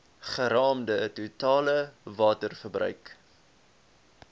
geraamde totale waterverbruik